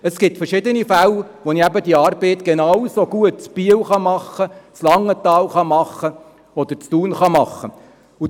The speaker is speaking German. Es gibt verschiedene Fälle, bei denen ich die Arbeit genauso gut in Biel, Langenthal oder Thun machen kann.